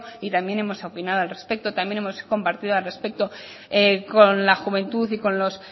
y también hemos opinado al respecto también hemos compartido al respecto con la juventud y con los